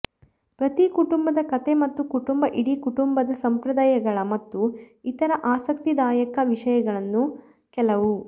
ಪ್ರತಿ ಕುಟುಂಬದ ಕಥೆ ಮತ್ತು ಕುಟುಂಬ ಇಡೀ ಕುಟುಂಬದ ಸಂಪ್ರದಾಯಗಳ ಮತ್ತು ಇತರ ಆಸಕ್ತಿದಾಯಕ ವಿಷಯಗಳನ್ನು ಕೆಲವು